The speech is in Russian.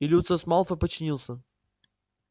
и люциус малфой подчинился